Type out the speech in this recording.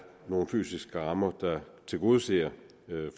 nogle fysiske rammer der tilgodeser